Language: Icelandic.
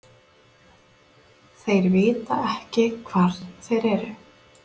Þeir vita ekki hvar þeir eru.